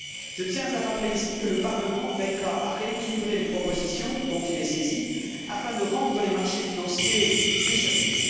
Je tiens à rappeler ici que le Parlement veillera à rééquilibrer les propositions dont il est saisi, afin de rendre les marchés financiers plus solides.